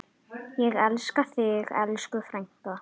Ég elska þig, elsku frænka.